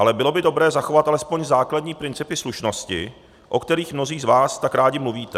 Ale bylo by dobré zachovat alespoň základní principy slušnosti, o kterých mnozí z vás tak rádi mluvíte.